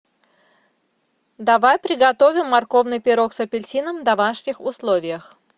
давай приготовим морковный пирог с апельсином в домашних условиях